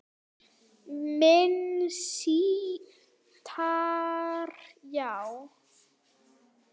Minni sítar, já